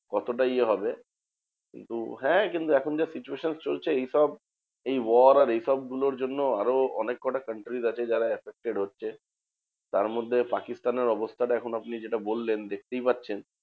কতটা ইয়ে হবে? কিন্তু হ্যাঁ কিন্তু এখন যা situation চলছে এইসব এই war আর এইসব গুলোর জন্য আরো অনেক কটা countries আছে যারা effected হচ্ছে। তারমধ্যে পাকিস্তানের অবস্থাটা এখন আপনি যেটা বললেন দেখতেই পাচ্ছেন